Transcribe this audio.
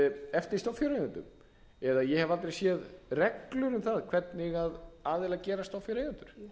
eftir stofnfjáreigendum eða ég hef aldrei séð reglur um það hvernig aðilar gerast stofnfjáreigendur